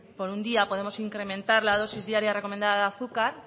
por un día podemos incrementar la dosis diaria recomendada de azúcar